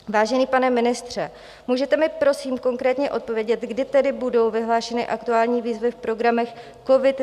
Vážený pane ministře, můžete mi prosím konkrétně odpovědět, kdy tedy budou vyhlášeny aktuální výzvy v programech COVID -